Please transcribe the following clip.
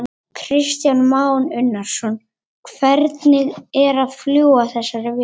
Kristján Már Unnarsson: Hvernig er að fljúga þessari vél?